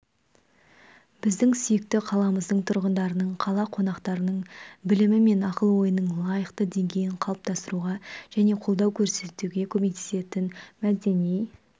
біздің сүйікті қаламыздың тұрғындарының қала қонақтарының білімі мен ақыл-ойының лайықты деңгейін қалыптастыруға және қолдау көрсетуге көмектесетін мәдени